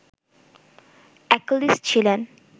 Achilles ছিলেন